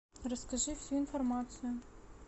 расскажи всю информацию